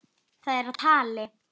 Það er á tali.